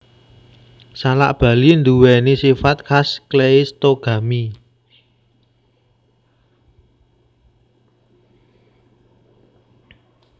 Salak Bali nduwèni sifat khas kleistogami